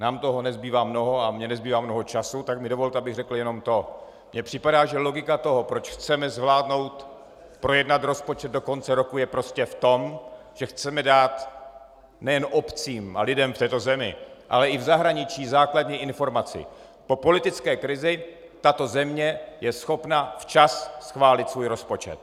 Nám toho nezbývá mnoho - a mně nezbývá mnoho času, tak mi dovolte, abych řekl jenom to: Mně připadá, že logika toho, proč chceme zvládnout projednat rozpočet do konce roku, je prostě v tom, že chceme dát nejen obcím a lidem v této zemi, ale i v zahraničí základní informaci: Po politické krizi tato země je schopna včas schválit svůj rozpočet.